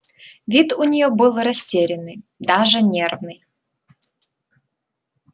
вид у нее был растерянный даже нервный